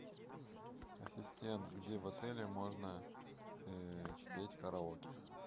ассистент где в отеле можно спеть караоке